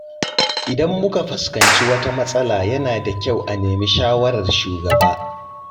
Idan muka fuskanci wata matsala yana da kyau a nemi shawarar shugaba.